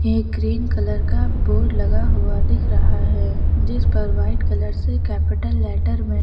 एक green colour का board लगा हुआ दिख रहा है जिस पर वाइट कलर से कैपिटल लेटर में--